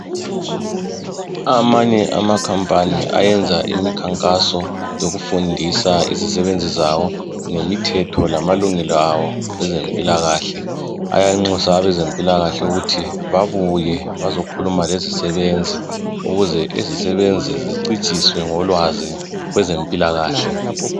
amanye ama company ayenza imikhankaso yokufundisa izisebenzi zawo ngemithetho lamalungelo awo kwezempilakahle ayanxusa abezempilakahle ukuthi babuye bazokhuluma lezisebenzi ukuze izisebenzi zicijiswe ngolwazi kwezempilakahle